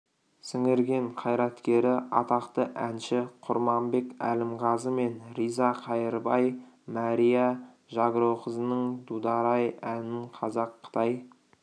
сіңірген қайраткері атақты әнші құрманбек әлімғазы мен риза қайырбай мәрия жагроқызының дудар-ай әнін қазақ қытай